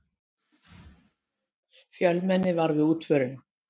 Fjölmenni var við útförina